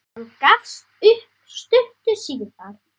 Hann gafst upp stuttu síðar.